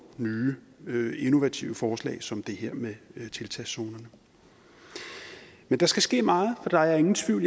nye innovative forslag som det her med tiltagszonerne men der skal ske meget for der er ingen tvivl